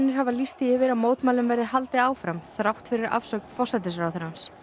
hafa lýst því yfir að mótmælum verði haldið áfram þrátt fyrir afsögn forsætisráðherrans